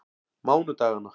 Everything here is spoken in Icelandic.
mánudaganna